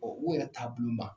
u yɛrɛ taabolo ma